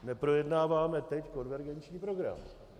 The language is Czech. Neprojednáváme teď konvergenční program.